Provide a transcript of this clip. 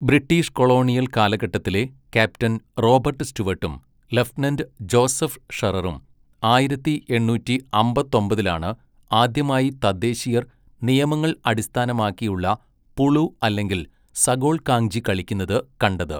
British colonial കാലഘട്ടത്തിലെ captain Robert സ്റ്റുവട്ടും lieutenant Joseph ഷെററും ആയിരത്തി എണ്ണൂറ്റി അമ്പത്തൊമ്പതിലാണ് ആദ്യമായി തദ്ദേശീയർ നിയമങ്ങൾ അടിസ്ഥാനമാക്കിയുള്ള പുളു അല്ലെങ്കിൽ സഗോൾകാങ്ജി കളിക്കുന്നത് കണ്ടത്.